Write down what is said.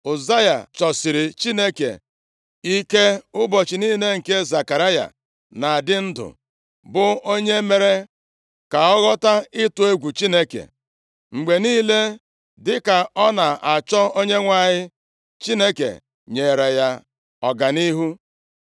Ụzaya chọsịrị Chineke ike ụbọchị niile nke Zekaraya na-adị ndụ, bụ onye mere ka ọ ghọta ịtụ egwu Chineke. Mgbe niile, dịka ọ na-achọ Onyenwe anyị, Chineke nyere ya ọganihu.